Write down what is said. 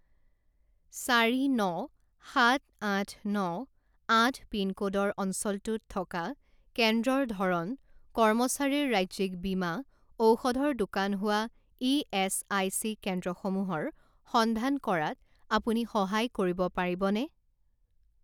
চাৰি ন সাত আঠ ন আঠ পিনক'ডৰ অঞ্চলটোত থকা কেন্দ্ৰৰ ধৰণ কৰ্মচাৰীৰ ৰাজ্যিক বীমা ঔষধৰ দোকান হোৱা ইএচআইচি কেন্দ্ৰসমূহৰ সন্ধান কৰাত আপুনি সহায় কৰিব পাৰিবনে?